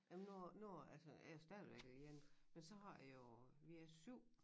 Jamen nu nu altså jeg er stadigvæk alene men så har jeg jo vi er 7